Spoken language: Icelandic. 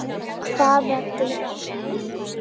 Hvaða dyr?